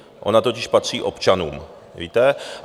Ona totiž patří občanům, víte?